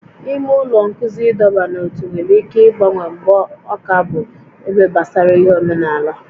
Ime ụlọ nkụzi ịdọba n'ótú nwere ike ịgbanwe mgbe ọ ka bụ ebe gbasara ihe omenala